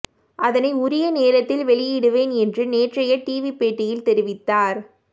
அதனை உரிய நேரத்தில் வெளியிடுவேன் என்று நேற்றைய டிவி பேட்டியில் தெரிவித்தார்